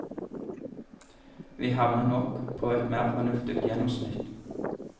Vi havner nok på et mer fornuftig gjennomsnitt.